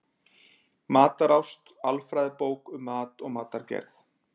Matarást: Alfræðibók um mat og matargerð.